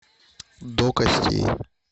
до костей